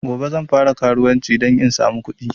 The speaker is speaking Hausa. Gobe zan fara karuwanci dan in samu kuɗi